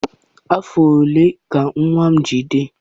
Afọ ole ka nwa gị dị?